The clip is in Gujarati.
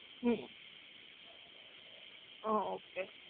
હુ હા ઓકે.